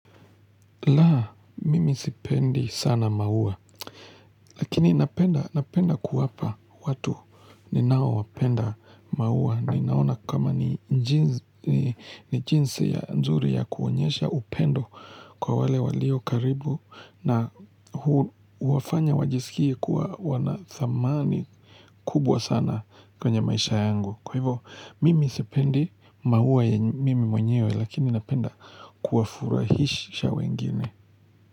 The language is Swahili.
La, mimi sipendi sana maua. Lakini napenda kuwapa watu ninaowapenda maua. Ninaona kama ni jinsi nzuri ya kuonyesha upendo kwa wale walio karibu na huwafanya wajisikie kuwa wanathamani kubwa sana kwenye maisha yangu. Kwa hivo, mimi sipendi maua ya mimi mwenyewe lakini napenda kuwafurahisha wengine.